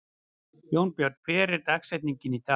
Jónbjörn, hver er dagsetningin í dag?